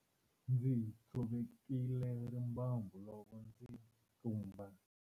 Ndzi tshovekile rimbambu loko ndzi tlumba.